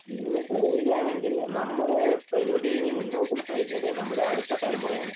നിങ്ങള് പറയുക ആണെങ്കിൽ നമ്മുടെ പ്രകൃതി ഇനി മുന്നോട്ടു നയിക്കേണ്ടത് നമ്മുടെ അടുത്ത തലമുറയാണ്